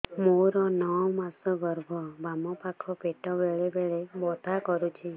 ମୋର ନଅ ମାସ ଗର୍ଭ ବାମ ପାଖ ପେଟ ବେଳେ ବେଳେ ବଥା କରୁଛି